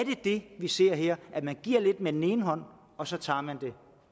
det vi ser her at man giver lidt med den ene hånd og så tager man det